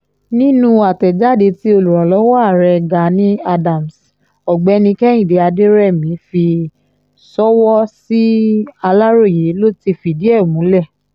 nínú àtẹ̀jáde tí olùrànlọ́wọ́ ààrẹ gani adams ọ̀gbẹ́ni kehinde aderemi fi sọ́wọ́ sí aláròye ló ti fìdí ẹ̀ múlẹ̀